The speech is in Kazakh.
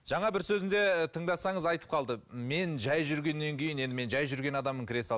жаңа бір сөзінде тыңдасаңыз айтып қалды мен жай жүргеннен кейін енді мен жай жүрген адаммын кіре салып